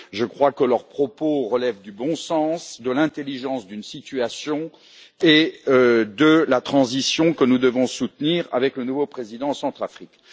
Je crois que leurs propos relèvent du bon sens, de l'intelligence d'une situation et de la transition que nous devons soutenir avec le nouveau président centrafricain.